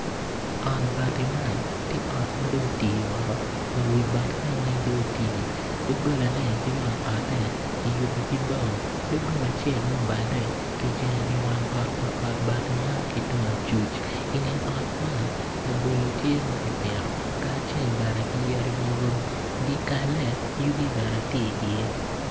Ot bati man ti ot ma dong oti woko wa wi batine weng dong oti dogolane ki wang ote kiyubo ki bao dogola acel ma dong obale kijengo iwang ot pa ot bati man ki tung acuc inge ot man, labolo tye ma kipito kacel bene ki yadi mogo dyekalle yugi bene tye iye.